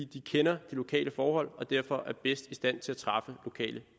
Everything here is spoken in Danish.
de kender de lokale forhold og derfor er bedst i stand til at træffe lokale